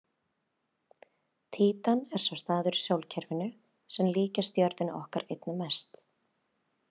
Títan er sá staður í sólkerfinu sem líkist jörðinni okkar einna mest.